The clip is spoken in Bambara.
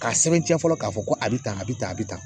K'a sɛbɛntiya fɔlɔ k'a fɔ ko a bɛ tan a bɛ tan a bɛ tan